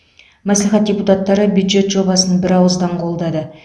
мәслихат депутаттары бюджет жобасын бірауыздан қолдады